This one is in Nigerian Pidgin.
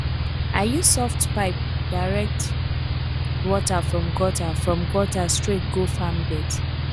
i use soft pipe direct water from gutter from gutter straight go farm beds